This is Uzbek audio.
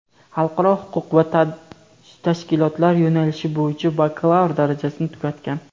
xalqaro huquq va tashkilotlar yo‘nalishi bo‘yicha bakalavr darajasini tugatgan.